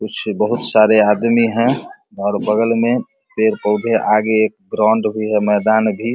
कुछ बहुत सारे आदमी है और बगल में पेड़-पौधे आगे में एक ग्राउंड भी है मैदान भी --